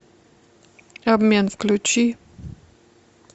обмен включи